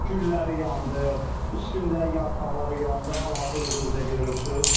Gülləri yandı, üstündə yarpaqları yandı, hal-hazır özünüz də görürsünüz.